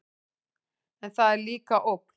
En það er líka ógn.